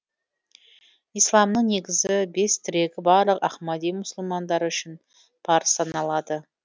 исламның негізгі бес тірегі барлық ахмади мұсылмандары үшін парыз саналады